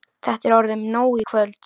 Þetta er orðið nóg í kvöld.